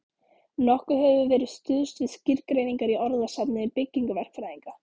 Nokkuð hefur verið stuðst við skýrgreiningar í orðasafni byggingaverkfræðinga.